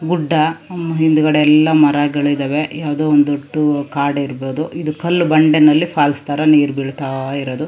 ಗುಡ್ಡ ಹಿಂದಗಡೆ ಎಲ್ಲಾ ಮರಗಳಿದವೆ ಯಾವದೋ ಒಂದು ದೊಡ್ಡ ಕಾಡ ಇರಬಹುದು ಇದು ಕಲ್ಲು ಬಂಡೆನಲ್ಲಿ ಫಾಲ್ಸ್ ತರ ನೀರು ಬೀಳತ್ತಾ ಇರೋದು.